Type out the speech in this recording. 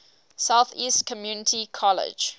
southeast community college